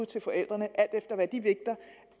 til forældrene alt efter hvad de vægter